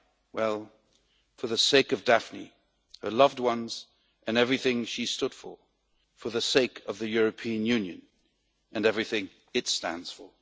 Well, for the sake of Daphne, her loved ones and everything she stood for, for the sake of the European Union and everything it stands for.